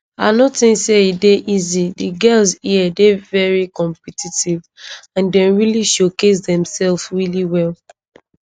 i no tink say e dey easy di girls here dey veri competitive and dem really showcase demsefs really well